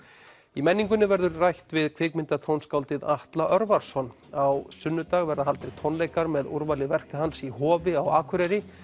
í menningunni verður rætt við kvikmyndatónskáldið Atla Örvarsson á sunnudag verða haldnir tónleikar með úrvali verka hans í Hofi á Akureyri